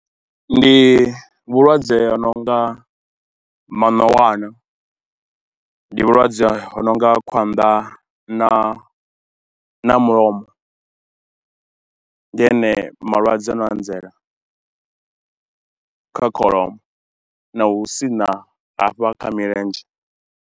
Ndi vhulwadze ha no nga manowana, ndi vhulwadze ha no nga khwanḓa na mulomo. Ndi ane malwadze ano anzela kha kholomo na hu sina hafha kha milenzhe.